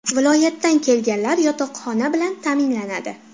Viloyatdan kelganlar yotoqxona bilan ta’minlanadi!